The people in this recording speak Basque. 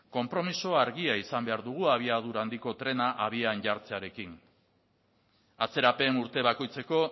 konpromiso handia izan behar dugu abiadura handiko trena abian jartzearekin atzerapen urte bakoitzeko